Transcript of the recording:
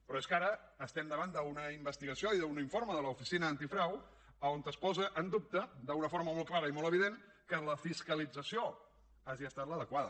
però és que ara estem davant d’una investigació i d’un informe de l’oficina antifrau on es posa en dubte d’una forma molt clara i molt evident que la fiscalització hagi estat l’adequada